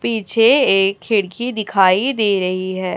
पीछे एक खिड़की दिखाई दे रही है।